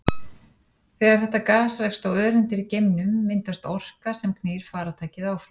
Þegar þetta gas rekst á öreindir í geimnum myndast orka sem knýr farartækið áfram.